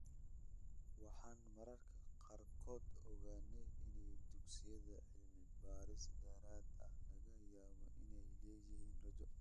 Waxaan mararka qaarkood ogaanay in dugsiyada 'cilmi-baaris dheeraad ah' laga yaabo inay leeyihiin rajo.